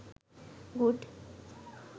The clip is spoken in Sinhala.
good